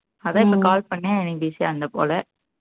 அதான் இப்போ call பண்ணேன் நீ busy ஆ இருந்த போல